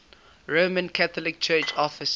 roman catholic church offices